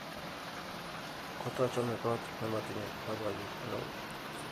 kotochome koot nemotimye loboyet neo